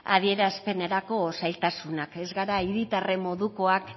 adierazpenerako zailtasunak ez gara hiritarren modukoak